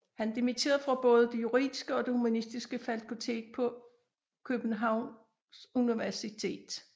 Han dimitterede fra både det juridiske og det humanistiske fakultet på Karlsuniversitetet i Prag